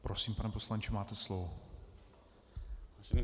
Prosím, pane poslanče, máte slovo.